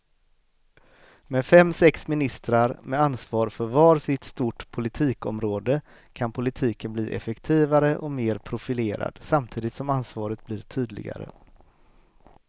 Med fem, sex ministrar med ansvar för var sitt stort politikområde kan politiken bli effektivare och mer profilerad samtidigt som ansvaret blir tydligare.